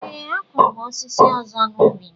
Ee, a kụrụ m osisi ọzọ n’ubi m.